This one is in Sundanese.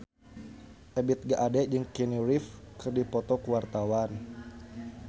Ebith G. Ade jeung Keanu Reeves keur dipoto ku wartawan